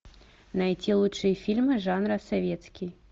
найти лучшие фильмы жанра советский